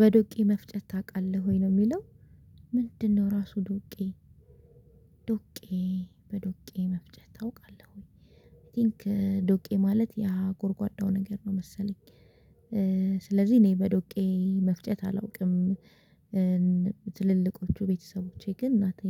በዶቄ መፍጨት ታውቃለህ ወይ ነው የሚለው ምንድነው? ራሱ ዶቄ ዶቄ በዶቄ መፍጨት አውቃለውኝ አይ ቲንክ ዶቄ ማለት ያ ጎርጓዳው ነገር ነው መሰለኝ። ስለዚህ እኔ በዶቄ መፍጨት አላውቅም። ትልልቆቹ ቤተሰቦቼ ግን እናቴ